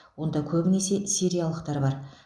онда көбінесе сириялықтар бар